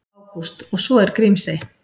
Ágúst: Og svo er Grímsey.